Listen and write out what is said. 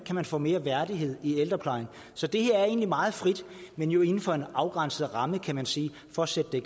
kan få mere værdighed i ældreplejen så det her er egentlig meget frit men jo inden for en afgrænset ramme kan man sige for at sætte det